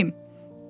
Bəs neyləyim?